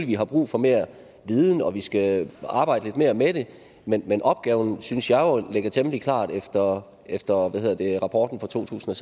vi har brug for mere viden og at vi skal arbejde lidt mere med det men opgaven synes jeg jo ligger temmelig klart efter efter rapporten fra totusinde